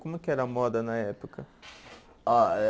Como é que era a moda na época? Ó eh